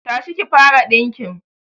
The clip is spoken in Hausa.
Tashi ki fara dinkin